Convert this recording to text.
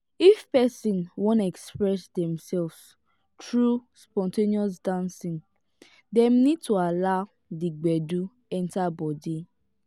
if person wan express themselves through spon ten ous dancing dem need to allow di gbedu enter bodi